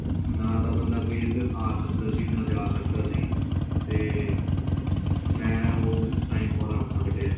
ਨਾ ਤਾਂ ਬੰਦਾ ਕੋਈ ਇੱਧਰ ਆ ਸਕਦਾ ਸੀ ਨਾ ਕੋਈ ਜਾ ਸਕਦਾ ਸੀ ਤੇ ਮੈਂ ਉਹ time ਬੜਾ ਔਖਾ ਕੱਢਿਆ ਏ